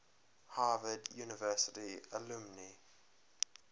harvard university alumni